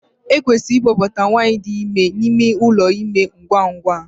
Ekwesịrị ịkpọbata nwanyị dị ime n'ime ụlọ ime ngwa ngwa enwere ike